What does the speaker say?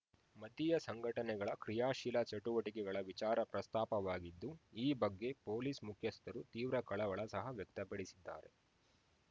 ಮತೀಯ ಸಂಘಟನೆಗಳ ಕ್ರಿಯಾಶೀಲ ಚಟುವಟಿಕೆಗಳ ವಿಚಾರ ಪ್ರಸ್ತಾಪವಾಗಿದ್ದು ಈ ಬಗ್ಗೆ ಪೊಲೀಸ್‌ ಮುಖ್ಯಸ್ಥರು ತೀವ್ರ ಕಳವಳ ಸಹ ವ್ಯಕ್ತಪಡಿಸಿದ್ದಾರೆ